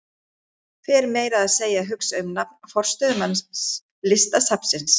Fer meira að segja að hugsa um nafn forstöðumanns Listasafnsins.